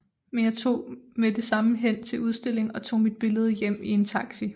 Men jeg tog med det samme hen til udstillingen og tog mit billede hjem i en taxi